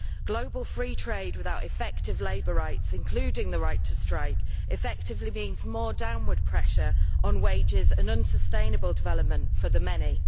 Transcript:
Global free trade without effective labour rights, including the right to strike, effectively means more downward pressure on wages and unsustainable development for the many.